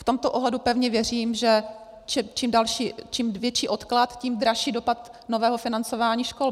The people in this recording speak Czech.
V tomto ohledu pevně věřím, že čím větší odklad, tím dražší dopad nového financování škol.